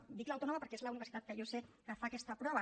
bé dic l’autònoma perquè és la universitat que jo sé que fa aquesta prova